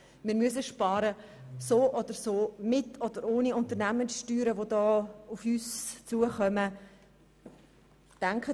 Wir müssen so oder so sparen, ob mit oder ohne Unternehmenssteuerreform, die auf uns zukommen wird.